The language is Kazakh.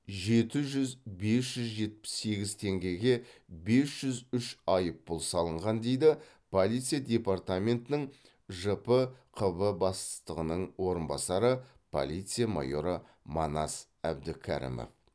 жеті жүз бес жүз жетпіс сегіз теңгеге бес жүз үш айыппұл салынған дейді полиция департаментінің жпқб бастығының орынбасары полиция майоры манас әбдікәрімов